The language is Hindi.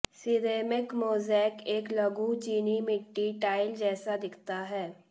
सिरेमिक मोज़ेक एक लघु चीनी मिट्टी टाइल जैसा दिखता है